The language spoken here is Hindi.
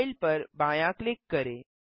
फाइल पर बायाँ क्लिक करें